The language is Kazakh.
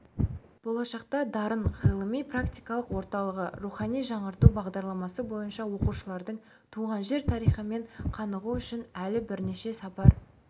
болашақта дарын ғылыми-практикалық орталығы рухани жаңғырту бағдарламасы бойынша оқушылардың туған жер тарихымен қанығуы үшін әлі бірнеше сапар